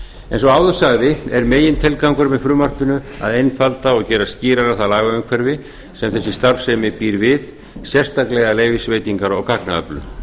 og áður sagði er megintilgangurinn með frumvarpinu að gera einfalda og gera skýrara það lagaumhverfi sem þessi starfsemi býr við sérstaklega leyfisveitingar á gagnaöflun